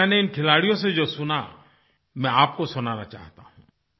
लेकिन मैंने इन खिलाड़ियों से जो सुना मैं आपको सुनाना चाहता हूँ